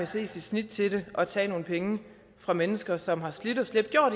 se sit snit til at tage nogle penge fra mennesker som har slidt og slæbt og